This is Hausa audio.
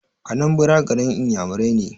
Anambra garin iyamurai ne